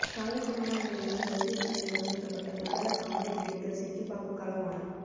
கவலைக்கிடமான நிலையில் வைத்திய சாலையில் அனுமதிக்கப்பட்ட பிரபல காமெடி நடிகர் சிட்டிபாபு காலமானார்